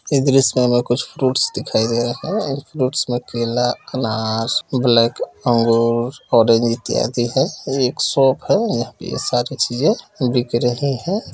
इस दृश्य में हमें कुछ फ्रुट्स दिखाई दे रहे हैं इन फ्रूट्स में केला अनार ब्लैक अंगूर ऑरेंज इत्यादी हैं ये शॉप है यहाँ पे ये सारी चीज़ें बिक रही हैं।